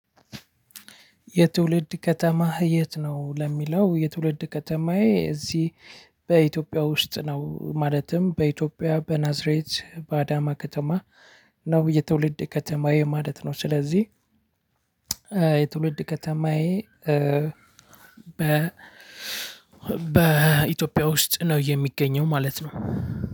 የትውልድ ከተማህ የት ነው? ለሚለው የትውልድ ከተማዬ እዚህ በኢትዮጵያ ውስጥ ነው ማለትም በኢትዮጵያ በናዝሬት በአዳማ ከተማ ነው የትውልድ ከተማዬ ማለት ነው ስለዚህ የትውልድ ከተማዬ በኢትዮጵያ ውስጥ ነው የሚገኘው ማለት ነው።